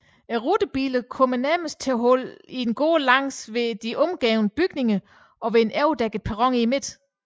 Rutebilerne kom nærmest til holde i en gård langs med de omgivende bygninger og ved en overdækket perron i midten